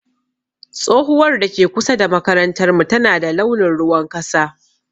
Tsohuwar da ke kusa da makarantar mu tana da launin ruwan kasa.